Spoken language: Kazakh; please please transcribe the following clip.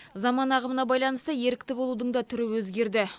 заман ағымына байланысты ерікті болудың да түрі өзгерді